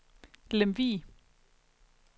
Lemvig